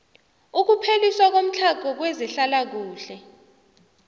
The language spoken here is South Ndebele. ukupheliswa komtlhago kwezehlalakuhle